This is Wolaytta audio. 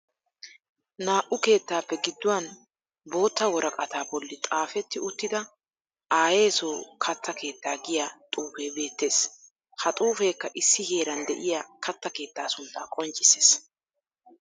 Naa"u keettaappe gidduwan bootta woraqataa bolli xaafetti uttida aayeeso katta keettaa giya xuufe beettees. Ha xuufeekka issi heeran de'iya katta keettaa suntta qonccissees.